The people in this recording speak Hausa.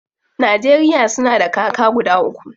Najeriya suna da kaka guda uku.